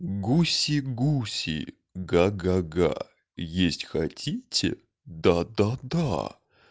гуси-гуси га га га есть хотите да да да